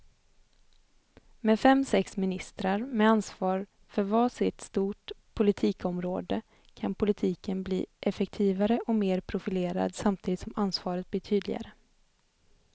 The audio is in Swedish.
Med fem, sex ministrar med ansvar för var sitt stort politikområde kan politiken bli effektivare och mer profilerad samtidigt som ansvaret blir tydligare.